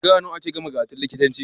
Shekara nawa ake gama karatun likitanci